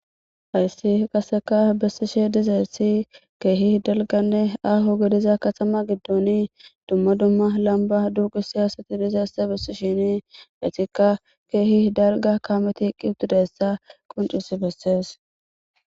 Hayssi qaseka bessishe dizeessi keehi delganne aaho gediza katama giddooni dumma dumma lamba duuqi siyasati dizesse bessi shini etikka keehi darga kaameti qqi utudayssa qoncusi bessees.